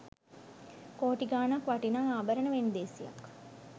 කෝටි ගාණක් වටිනා ආභරණ වෙන්දේසියක්